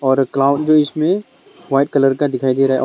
और क्लाउड जो इसमे वाइट कलर का दिखाई दे रा है और--